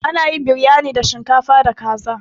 Ana yin Biryani da shinkafa da kaza.